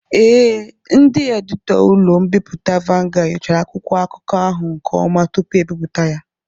Ee, ndị editọ ụlọ mbipụta Vanguard nyochara akwụkwọ akụkọ ahụ nke ọma tupu ebipụta ya.